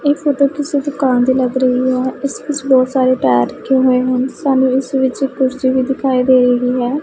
ਇਹ ਫੋਟੋ ਕਿਸੇ ਦੁਕਾਨ ਦੀ ਲੱਗ ਰਹੀ ਹੈ ਇਸ ਵਿੱਚ ਬਹੁਤ ਸਾਰੇ ਟਾਇਰ ਰੱਖੇ ਹੋਏ ਹਨ ਸਾਨੂੰ ਇਸ ਵਿੱਚ ਇੱਕ ਕੁਰਸੀ ਵੀ ਦਿਖਾਈ ਦੇ ਰਹੀ ਹੈ।